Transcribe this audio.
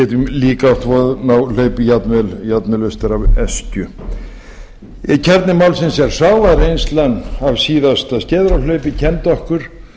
getum líka átt von á hlaupi jafnvel austur af öskju kjarni málsins er sá að reynslan af síðasta skeiðarárhlaupi kenndi okkur